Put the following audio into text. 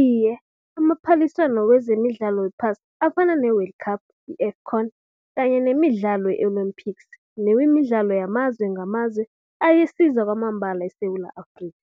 Iye, amaphaliswano wezemidlalo wephasi afana ne-world cup i-AFCON kanye nemidlalo ye-Olympics nemidlalo amazwe ngamazwe ayasiza kwamambala iSewula Afrikha.